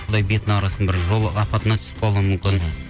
құдай бетін әрі қылсын бір жол апатына түсіп қалуы мүмкін